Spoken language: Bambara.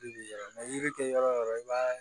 Yiri yiran yiri tɛ yɔrɔ o yɔrɔ i b'a ye